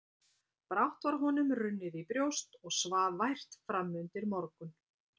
Brátt var honum runnið í brjóst og svaf vært framundir morgun.